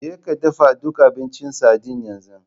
Jeka dafa duk abincin sardine yanzu!